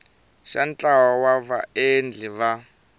xa ntlawa wa vaendli va